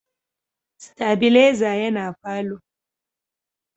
stabileza yana falo